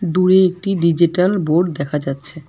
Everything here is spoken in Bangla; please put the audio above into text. দূরে একটি ডিজিটাল বোর্ড দেখা যাচ্ছে।